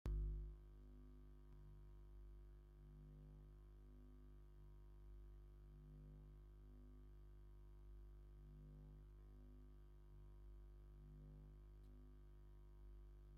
ኣመራርሓ ናይ ግዝያዊ ምምሕዳር ክልል ትግራይ ኣቶ ታደሰ ወረደ ምስ ካልአት ኣመራርሓ ኣብ ወረቅት እንትፅሕፉ የመላክት ። ክልተ ሰባት ግን ደው ኢሎም ኣለዉ ።